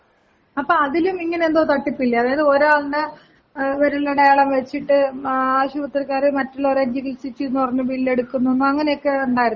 അപ്പം അതിലും ഇങനെന്തോ തട്ടിപ്പില്ലെ അതായത് ഒരാൾടെ ഏ വിരലടയാളം വെച്ചിട്ട് ഏ ആശുപത്രിക്കാര് മറ്റുള്ളവരെ ചികില് സിച്ചുന്ന് പറഞ്ഞ് ബില്ലെടുക്കുന്നുന്ന് അങ്ങനെക്കെ ഇണ്ടാര്ന്നില്ലെ.